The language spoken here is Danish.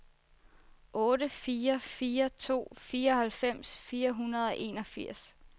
otte fire fire to fireoghalvfems fire hundrede og enogfirs